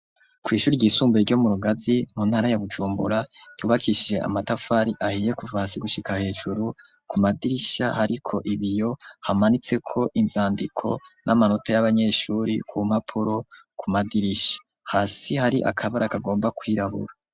Kw' ishuri ry'isumbaye ryo mu Rugazi mu ntara ya Bujumbura ryubakishije amatafar' ahiye kuva hasi gushika hejuru ,ku madirisha hariko ibiyo hamanitse ko inzandiko n'amanota y'abanyeshuri ku mpapuro ku madirisha, hasi hari akabara kagomba kwirabura.